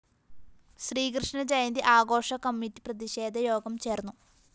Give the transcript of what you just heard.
ശ്രീകൃഷ്ണ ജയന്തി ആഘോഷ കമ്മിറ്റി പ്രതിഷേധയോഗം ചേര്‍ന്നു